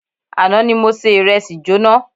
Àná ni se ìrẹsì jóná.